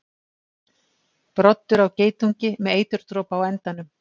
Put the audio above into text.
Broddur á geitungi með eiturdropa á endanum.